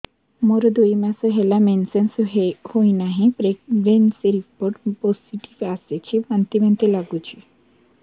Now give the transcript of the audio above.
ମୋର ଦୁଇ ମାସ ହେଲା ମେନ୍ସେସ ହୋଇନାହିଁ ପ୍ରେଗନେନସି ରିପୋର୍ଟ ପୋସିଟିଭ ଆସିଛି ବାନ୍ତି ବାନ୍ତି ଲଗୁଛି